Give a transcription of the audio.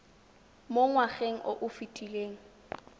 mo ngwageng o o fetileng